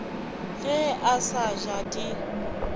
ge a sa ja di